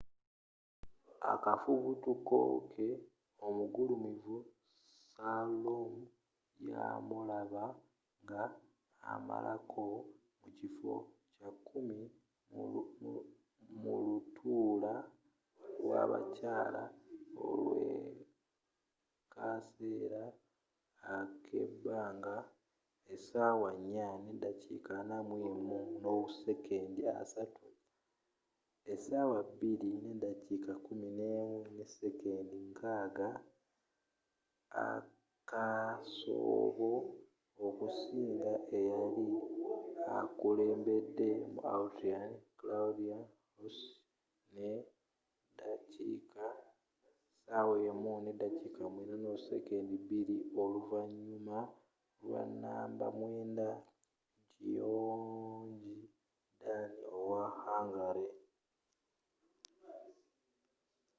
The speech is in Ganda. akafubutuko ke omugulumivu slalom, yamulaba nga amalako mukiffo kyakumi mu lutuula lwabakyaala olwakaseera akebanga 4:41.30 2:11.60 akakasoobo okusinga eyali akulembedde mu autrian claudia loesch ne dakiika 1:09.02 oluvanyuma lwa namba mwenda gyöngyi dani owe hungary